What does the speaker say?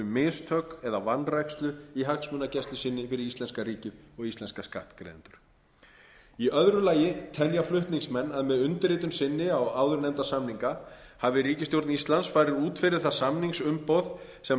mistök eða vanrækslu í hagsmunagæslu sinni fyrir íslenska ríkið og íslenska skattgreiðendur í öðru lagi telja flutningsmenn að með undirritun sinni á áðurnefnda samninga hafi ríkisstjórn íslands farið út fyrir það samningsumboð sem